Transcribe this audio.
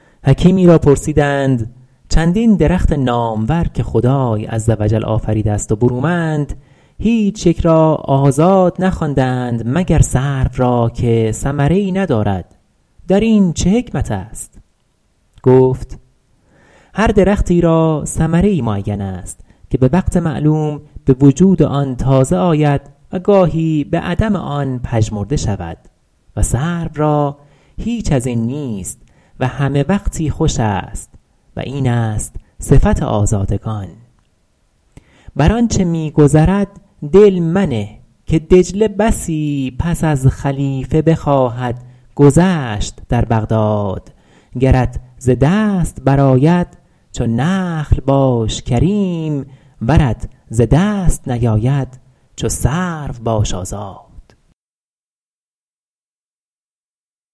حکیمی را پرسیدند چندین درخت نامور که خدای عز و جل آفریده است و برومند هیچ یک را آزاد نخوانده اند مگر سرو را که ثمره ای ندارد در این چه حکمت است گفت هر درختی را ثمره ای معین است که به وقتی معلوم به وجود آن تازه آید و گاهی به عدم آن پژمرده شود و سرو را هیچ از این نیست و همه وقتی خوش است و این است صفت آزادگان بر آنچه می گذرد دل منه که دجله بسی پس از خلیفه بخواهد گذشت در بغداد گرت ز دست برآید چو نخل باش کریم ورت ز دست نیاید چو سرو باش آزاد